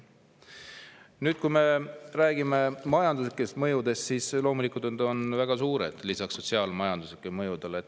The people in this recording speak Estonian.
Nüüd, kui me räägime majanduslikest mõjudest, siis loomulikult need on väga suured lisaks sotsiaalsetele mõjudele.